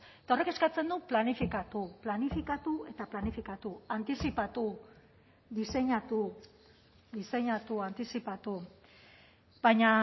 eta horrek eskatzen du planifikatu planifikatu eta planifikatu antizipatu diseinatu diseinatu antizipatu baina